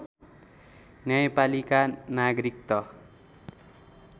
न्यायपालिका नागरिक त